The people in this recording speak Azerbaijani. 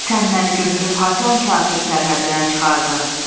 Sən məni götürüb haçan kafir sərhəddinə çıxardın?